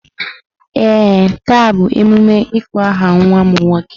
Ee, taa bụ emume ịkpọ aha nwa m nwoke.